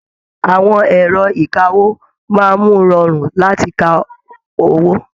Àwọn ẹrọ ìkáwó máa mú rọrun láti kà owó.